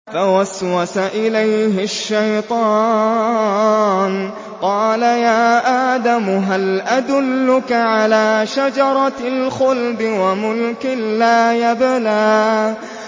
فَوَسْوَسَ إِلَيْهِ الشَّيْطَانُ قَالَ يَا آدَمُ هَلْ أَدُلُّكَ عَلَىٰ شَجَرَةِ الْخُلْدِ وَمُلْكٍ لَّا يَبْلَىٰ